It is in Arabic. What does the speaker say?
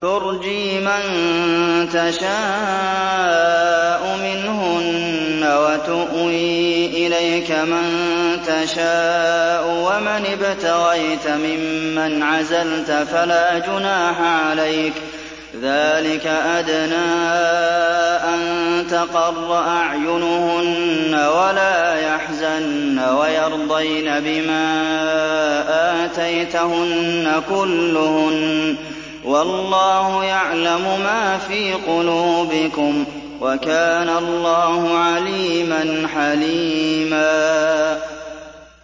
۞ تُرْجِي مَن تَشَاءُ مِنْهُنَّ وَتُؤْوِي إِلَيْكَ مَن تَشَاءُ ۖ وَمَنِ ابْتَغَيْتَ مِمَّنْ عَزَلْتَ فَلَا جُنَاحَ عَلَيْكَ ۚ ذَٰلِكَ أَدْنَىٰ أَن تَقَرَّ أَعْيُنُهُنَّ وَلَا يَحْزَنَّ وَيَرْضَيْنَ بِمَا آتَيْتَهُنَّ كُلُّهُنَّ ۚ وَاللَّهُ يَعْلَمُ مَا فِي قُلُوبِكُمْ ۚ وَكَانَ اللَّهُ عَلِيمًا حَلِيمًا